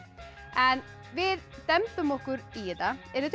en við dembum okkur í þetta eruð